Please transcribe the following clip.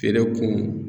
Feere kun